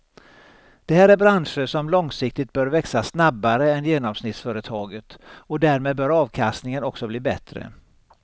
Det här är branscher som långsiktigt bör växa snabbare än genomsnittsföretaget och därmed bör avkastningen också bli bättre.